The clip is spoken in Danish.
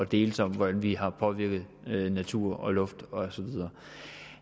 deles om hvordan vi har påvirket natur og luft